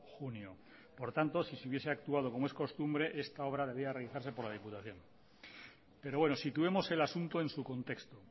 junio por tanto si se hubiese actuado como es costumbre esta obra debería realizarse por la diputación pero bueno situemos el asunto en su contexto